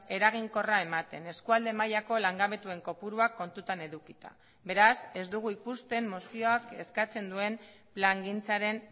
eraginkorra ematen eskualde mailako langabetuen kopuruak kontutan edukita beraz ez dugu ikusten mozioak eskatzen duen plangintzaren